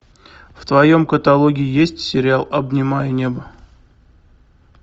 в твоем каталоге есть сериал обнимая небо